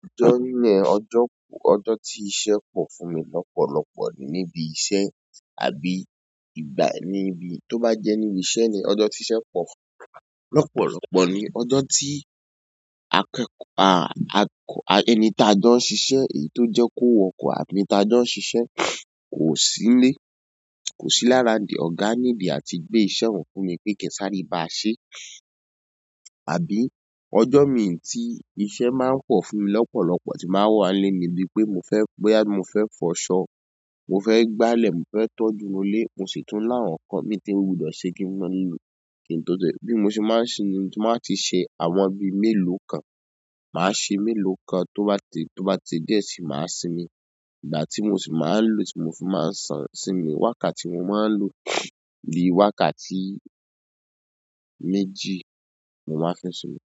Ọjọ́ n ne, ọjọ́, ọjọ́ tí iṣẹ́ pọ̀ fún mi lopolopo ni íbi iṣẹ́ àbí ìgbà ni íbi tó bá jẹ́ níbi iṣẹ́ ni ọjọ́ tí iṣẹ́ pọ̀ lọ́pọ̀lọ́pọ̀ ni ọjọ́ tí akẹ́kọ̀, à, akọ, ẹni tá jọ ń ṣiṣẹ́ èyí tó jẹ́ kó wọkọ̀ àbí ẹni tá jọ ń ṣiṣẹ́ kò sí nílé, kò sí láraundi ọ̀gá nìlo àti gbé iṣẹ́ ọ̀hun fún mi pé ki n sáré í báa ṣe. Àbí ọjọ́ mi tí iṣẹ́ máa ń pọ fún mi lọ́pọ̀lọ́pọ̀ tí n bá wà nílé mi bí pé mo fẹ́, bóyá mo fẹ́ fọṣọ, mo fẹ́ gbálẹ̀, mo fẹ́ tọ́jú inú ilé, mo sì tún láwọ̀n nkan mii tí mo gbodo se wudọ̀ ṣe kí n wà nílé. Kí n tó tẹ́lẹ̀ bí mo ṣe máa ń ṣe ni tí wọ́n máa ti mo ba ti ṣe àwọn bíi mélòó kan. Màá ṣe mélòó kan tó bá ti, tó bá ti di díẹ̀ sii, màá sinmi. Ìgbà tí mo sì máa ń lò tí mo fi máa ń san sinmi wákàtí mo máa ń lò bí i wákàtí méjì mo máa fi sinmi.